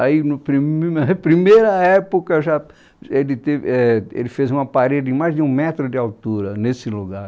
Aí, no prim, na na primeira época já, é de te, éh, ele fez uma parede de mais de um metro de altura nesse lugar.